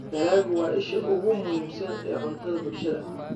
Dalaggu waa isha ugu muhiimsan ee cuntada bulshada.